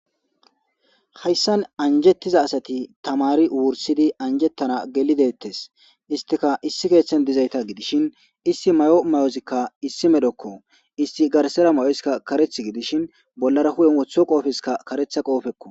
Hayssan anjjeththida asathi thamaari wurssidi anjjeththana geli deeththes; isthika issi keeththen dizaytha gidishin issi mayo mayothikka issi medhokoo;issi garsseera mayoska kareththi gidishin bollara huphen woththido qoofekka kareththa qoofekkoo.